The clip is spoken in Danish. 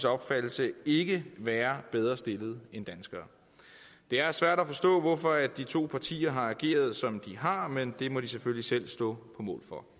opfattelse ikke være bedre stillede end danskere det er svært at forstå hvorfor de to partier har ageret som de har gjort men det må de selvfølgelig selv stå på mål for